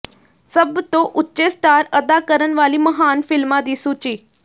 ਸਭ ਤੋਂ ਉੱਚੇ ਸਟਾਰ ਅਦਾ ਕਰਨ ਵਾਲੀ ਮਹਾਨ ਫਿਲਮਾਂ ਦੀ ਸੂਚੀ